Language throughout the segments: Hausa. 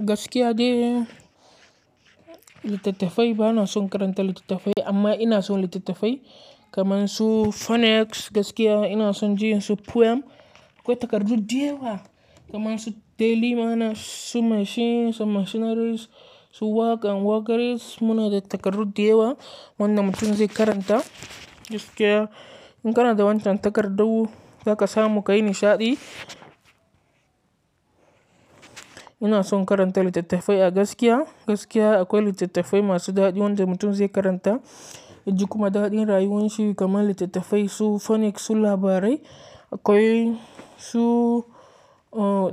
Gaskiya ne, littattafai bana son karanta littattafai amma ina son littattafai kamar su phonics gaskiya ina son jin su poem. Akwai takardu diyawa kamar su daily mana, su machine, su machineries, su work and workeries. Muna da takardu diyawa wanda mutum zai karanta gaskiya. In kana da wancan takardu za ka samu ka yi nishaɗi. Ina son karanta littattafai a gaskiya. Gaskiya akwai littattafai masu daɗi wanda mutum zai karanta ya ji kuma daɗin rayuwanshi kamar littattafai su phonics, su labarai akwai su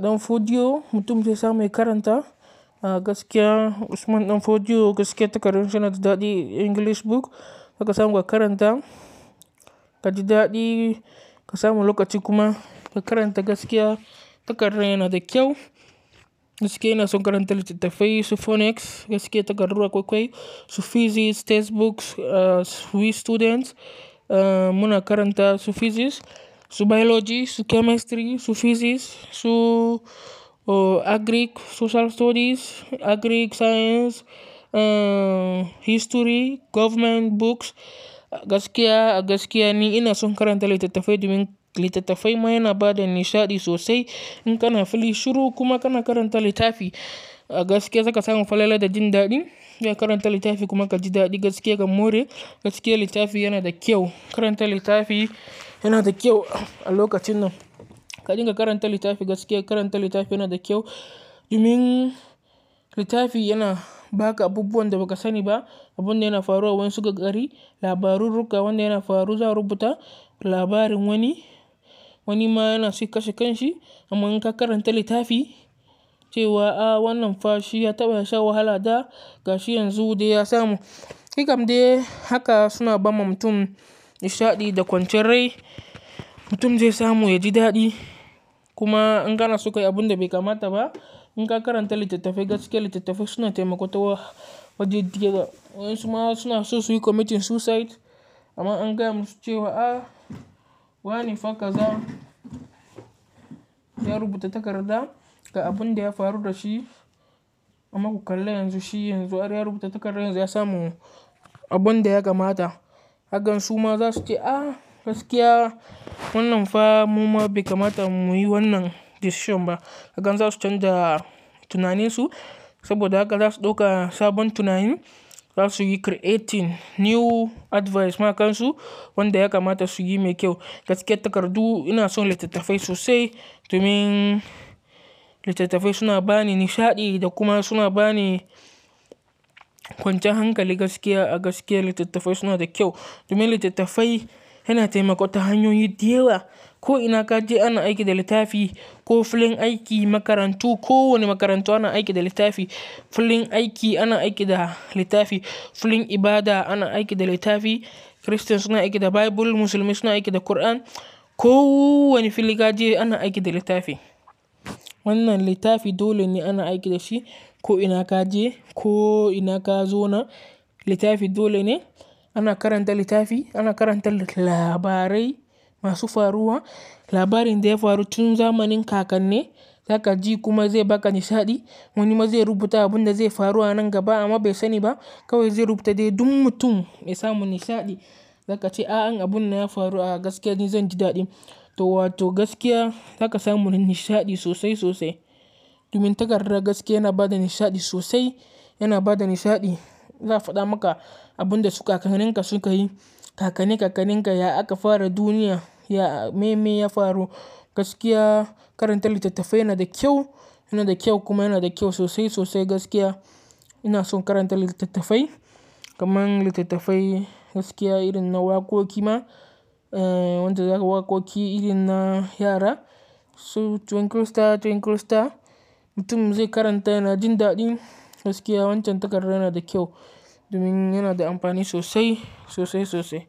ɗan fodyo mutum zai samu ya karanta a gaskiya Usman ɗan fodyo gaskiya takardun shi yana da daɗi English book za ka samu ka karanta. Ka ji daɗi ka samu lokaci kuma ka karanta gaskiya takardan yana da kyau. Gaskiya ina son karanta littattafai su phonics gaskiya takardu akwai kwai. Su physics textbooks, uh, sweet students muna karanta su physics, su biology, su chemistry, su physics, su agric, social studies, agric science, uh, history, government books gaskiya. A gaskiya ni ina son karanta littattafai domin littattafai ma yana ba da nishaɗi sosai. In kana fili shuru kuma kana karanta littafi a gaskiya za ka samu falala da jin daɗin. Ya karanta littafi kuma ka ji daɗi gaskiya ka more. Gaskiya littafi yana da kyau. Karanta littafi yana da kyau a lokacin nan. Ka dinga karanta littafi gaskiya karanta littafi yana da kyau domin littafi yana ba ka abubuwan da ba ka sani ba. Abun da yana faruwa wai su ka ƙari labarurruka wanda yana faru za a rubuta labarin wani. Wani ma yana su kashe kan shi amma in ka karanta littafi cewa a wannan fa shi ya taɓa sha wahala da gashi yanzu dai ya samu. Ni kam dai haka suna bawa mutum nishaɗi da kwanciyar rai. Mutum zai samu ya ji daɗi kuma in kana suka yi abun da bai kamata ba in ka karanta littattafai gaskiya littattafai suna taimakawa waje diyawa. Wa'insu ma suna so su yi committing suicide amma an gaya musu cewa a wane fa kaza ya rubuta takarda ga abun da ya faru da shi. Amma ku kalla yanzu shi yanzu are ya rubuta takardar yanzu ya samu abun da ya kamata. Hakan su ma za su ce a gaskiya wannan fa mu ma bai kamata mu yi wannan decision ba. Kagan za su canja tunaninsu saboda haka za su ɗauka sabon tunani. Za su yi creating new advice makansu wanda ya kamata su yi mai kyau. Gaskiya takardu ina son littattafai sosai domin littattafai suna ba ni nishaɗi da kuma suna ba ni kwanciyar hankali gaskiya. A gaskiya littattafai suna da kyau domin littattafai yana taimakawa hanyoyi diyawa. Ko ina ka je ana aiki da littafi, ko filin aiki, makarantu ko wane makarantu ana aiki da littafi. Filin aiki ana aiki da littafi. Filin ibada ana aiki da littafi. Christians suna aiki da Bible, musulmai suna aiki da Quran. Ko wane fili ka je ana aiki da littafi. Wannan littafi dole ne ana aiki da shi. Ko ina ka je, ko ina ka zo na littafi dole ne. Ana karanta littafi, ana karanta labarai masu faruwa. Labarin da ya faru tun zamanin kakanne za ka ji kuma zai ba ka nishaɗi. Wani ma zai rubuta abin da zai faru a nan gaba amma bai sani ba kawai zai rubta dai duk mutum ya samu nishaɗi. Za ka ce a in abun nan ya faru a gaskiya ni zan ji daɗin. To wato gaskiya za ka samu nishaɗi sosai sosai. Domin takarda gaskiya yana ba da nishaɗi sosai. Yana ba da nishaɗi. Ya faɗa maka abun da su kakanninka su ka yi. Kakanni kakanninka ya aka fara duniya, ya me me ya faru. Gaskiya karanta littattafai yana da kyau, yana da kyau kuma yana da kyau sosai sosai gaskiya. Ina son karanta littattafai kamar littattafai gaskiya irin na waƙoƙi ma. Eh, wanda za ka waƙoƙi irin na yara su twinkle star twinkle star mutum zai karanta yana jin daɗi. Gaskiya wancan takarda yana da kyau domin yana da amfani sosai sosai sosai.